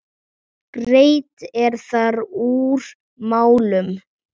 Greitt er þar úr málum.